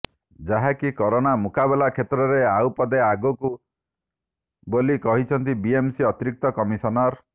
ଯାହାକି କରୋନା ମୁକାବିଲା କ୍ଷେତ୍ରରେ ଆଉ ପାଦେ ଆଗକୁ ବୋଲି କହିଛନ୍ତି ବିଏମସି ଅତିରିକ୍ତ କମିଶନର